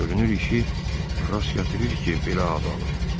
Görünür işi rast gətirir ki, belə ad alıb.